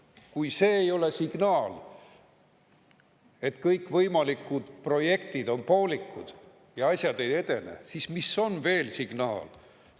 Kui see ei ole signaal, et kõikvõimalikud projektid on poolikud ja asjad ei edene, siis mis veel signaal on?